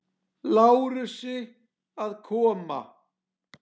Lárusi að koma.